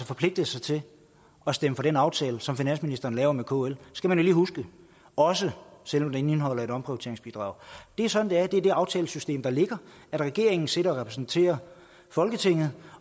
forpligtet sig til at stemme for den aftale som finansministeren laver med kl skal man lige huske også selv om den indeholder et omprioriteringsbidrag det er sådan det er det er det aftalesystem der er regeringen sidder og repræsenterer folketinget